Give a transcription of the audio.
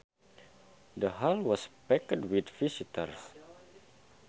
The hall was packed with visitors